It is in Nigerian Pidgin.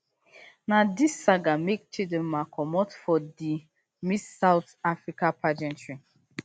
na dis saga make chidinma comot for di miss south africa pageantry